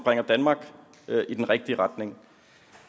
bringer danmark i den rigtige retning